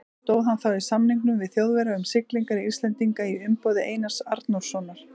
Stóð hann þá í samningum við Þjóðverja um siglingar Íslendinga í umboði Einars Arnórssonar.